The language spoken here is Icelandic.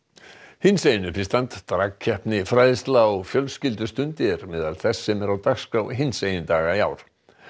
hinsegin uppistand fræðsla og fjölskyldustund er á meðal þess sem er á dagskrá hinsegin daga í ár